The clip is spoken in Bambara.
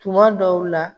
Tuma dɔw la